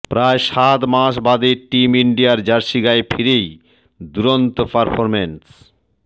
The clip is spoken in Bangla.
প্রায় সাত মাস বাদে টিম ইন্ডিয়ার জার্সি গায়ে ফিরেই দুরন্ত পারফরম্যান্